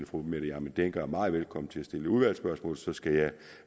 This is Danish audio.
fru mette hjermind dencker er meget velkommen til at stille udvalgsspørgsmål så skal jeg